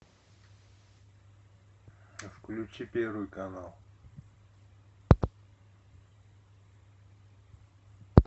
включи первый канал